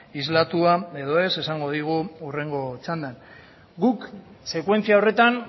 islatua edo ez esango digu hurrengo txandan guk sekuentzia horretan